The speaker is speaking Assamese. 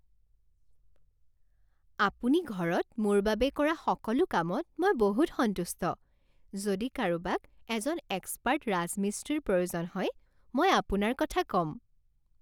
আপুনি ঘৰত মোৰ বাবে কৰা সকলো কামত মই বহুত সন্তুষ্ট। যদি কাৰোবাক এজন এক্সপাৰ্ট ৰাজমিস্ত্ৰীৰ প্ৰয়োজন হয় মই আপোনাৰ কথা ক'ম।